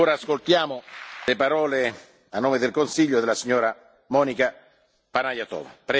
Ora ascoltiamo le parole, a nome del Consiglio, della signora Monika Panayotova.